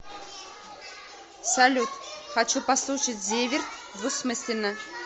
салют хочу послушать зиверт двусмысленно